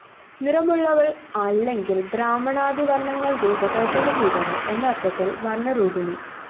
നിറമുള്ളവള്‍ അല്ലെങ്കില്‍ ബ്രാഹ്മണാദിവര്‍ണ്ണങ്ങള്‍ രൂപകല്‍പന ചെയ്തവള്‍ എന്നര്‍ത്ഥത്തില്‍ വര്‍ണ്ണരൂപിണീ